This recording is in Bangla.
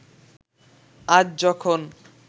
আজ যখন